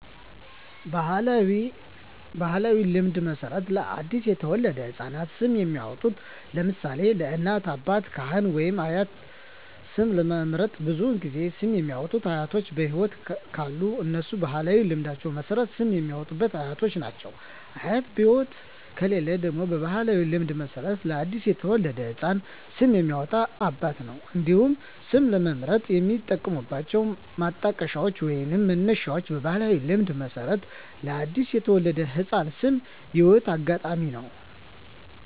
በባሕላዊ ልማድ መሠረት ለ አዲስ የተወለደ ሕፃን ስም የሚያወጣዉ (ለምሳሌ: ከእናት፣ አባት፣ ካህን ወይም አያት) ስም ለመምረጥ ብዙውን ጊዜ ስም የሚያወጡት አያቶች በህይወት ካሉ እነሱ በባህላዊ ልማድ መሠረት ስም የሚያወጡት አያቶች ናቸው። አያት በህይወት ከሌሉ ደግሞ በባህላዊ ልማድ መሠረት ለአዲስ የተወለደ ህፃን ስም የሚያወጣው አባት ነው። እንዲሁም ስም ለመምረጥ የሚጠቀሙት ማጣቀሻዎች ወይንም መነሻዎች በባህላዊ ልማድ መሠረት ለአዲስ የተወለደ ህፃን ስም የህይወት አጋጣሚ ነው።